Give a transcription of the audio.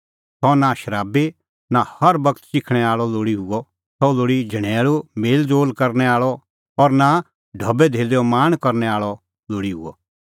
सह नां शराबी और नां हर बगत च़िखणैं आल़अ लोल़ी हुअ सह लोल़ी झणैल़ू मेल़ज़ोल़ करनै आल़अ हुअ और नां सह ढबैधेल्लैओ लाल़च़ करनै आल़अ लोल़ी हुअ